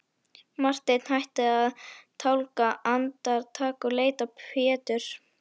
Marteinn hætti að tálga andartak og leit á Pétur.